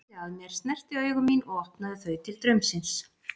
Hún beygði sig að mér, snerti augu mín og opnaði þau til draumsins.